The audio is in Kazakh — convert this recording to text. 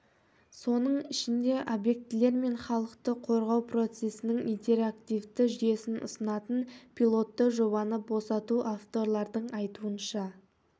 соның ішінде объектілер мен халықты қорғау процесінің интерактивті жүйесін ұсынатын пилотты жобаны босату авторлардың айтуынша